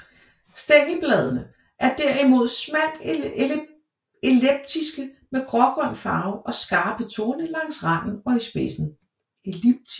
Stængelbladene er derimod smalt elliptiske med grågrøn farve og skarpe torne langs randen og i spidsen